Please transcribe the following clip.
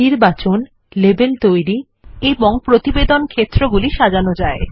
নির্বাচন লেবেল তৈরি এবং প্রতিবেদনক্ষেত্রগুলি সাজানো যায়